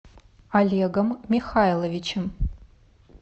олегом михайловичем